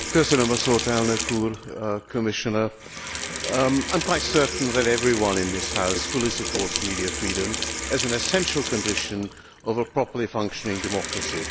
Mr President, Commissioner, I am quite certain that everyone in this House fully supports media freedom as an essential condition of a properly functioning democracy.